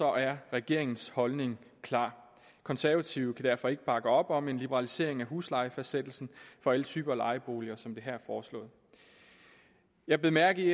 er regeringens holdning klar konservative kan derfor ikke bakke op om en liberalisering af huslejefastsættelsen for alle typer lejeboliger sådan som det her er foreslået jeg bed mærke i